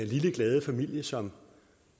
lille glade familie som